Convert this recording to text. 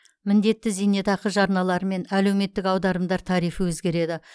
міндетті зейнетақы жарналары мен әлеуметтіек аударымдар тарифі өзгереді